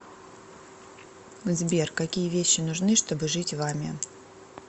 сбер какие вещи нужны чтобы жить вами